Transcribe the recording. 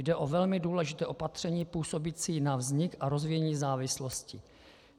Jde o velmi důležité opatření působící na vznik a rozvíjení závislosti.